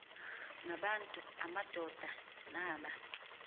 ngabantu amadoda naba